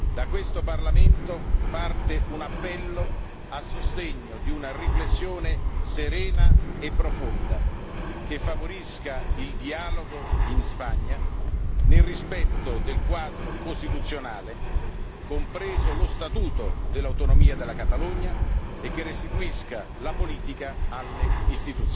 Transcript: Da questo Parlamento parte un appello a sostegno di una riflessione serena e profonda, che favorisca il dialogo in Spagna, nel rispetto del quadro costituzionale, compreso lo Statuto dell'autonomia della Catalogna, e che restituisca la politica alle istituzioni.